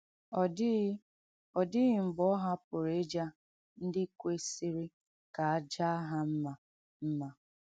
Ọ dịghị Ọ dịghị mgbe ọ hapụrụ ịja ndị kwesịrị ka a jaa ha mma mma.